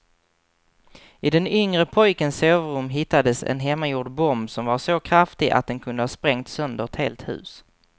I den yngre pojkens sovrum hittades en hemmagjord bomb som var så kraftig att den kunde ha sprängt sönder ett helt hus.